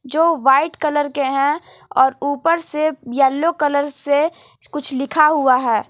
जो white colour के है और ऊपर से येलो कलर से कुछ लिखा हुआ है।